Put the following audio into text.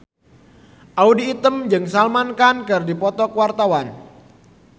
Audy Item jeung Salman Khan keur dipoto ku wartawan